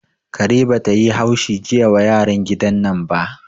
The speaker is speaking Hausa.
Kare bata yi haushi jiya wa yaran gidan nan ba